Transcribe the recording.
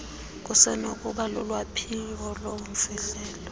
kusenokuba lulwaphulo lobumfihlelo